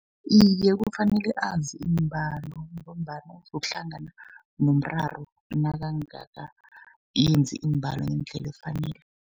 Iye, kufanele azi iimbalo, ngombana uzokuhlangana nomraro nakangakayenzi iimbalo ngendlela efanele.